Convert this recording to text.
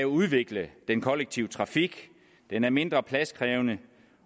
udvikle den kollektive trafik den er mindre pladskrævende